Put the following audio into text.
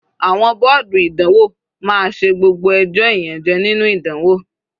Àwọn bọ́ọ̀dù ìdánwò máa ṣe gbogbo ẹjọ́ ìyànjẹ́ nínú ìdánwò.